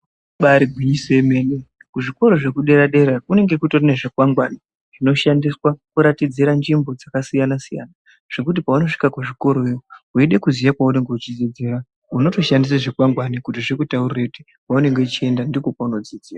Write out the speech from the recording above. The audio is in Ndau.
Ibari gwinyiso yemene kuzvikora zvekudera dera kunenge kune zvikwangwari zvinoshandiswa kuratidzira nzvimbo dzakasiyana siyana zvekuti paunosvika kuzvikora iyo weida kuziya paunenge uchidzidzira unotoshandisa zvikwangwari kuti zvikutaurire kuti kwaunenge uchienda ndiko kwaunodzidzira.